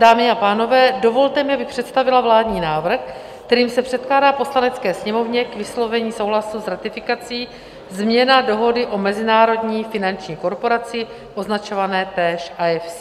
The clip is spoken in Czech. Dámy a pánové, dovolte mi, abych představila vládní návrh, kterým se předkládá Poslanecké sněmovně k vyslovení souhlasu s ratifikací změna dohody o Mezinárodní finanční korporaci, označované též IFC.